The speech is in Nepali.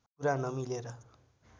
कुरा नमिलेर